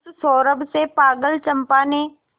उस सौरभ से पागल चंपा ने